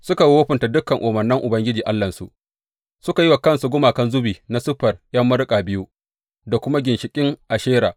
Suka wofinta dukan umarnan Ubangiji Allahnsu, suka yi wa kansu gumakan zubi na siffar ’yan maruƙa biyu, da kuma ginshiƙin Ashera.